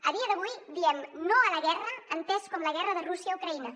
a dia d’avui diem no a la guerra entès com la guerra de rússia a ucraïna